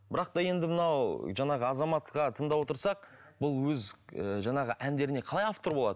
бірақ та енді мынау жаңағы азаматқа тыңдап отырсақ бұл өз ііі жаңағы әндеріне қалай автор болады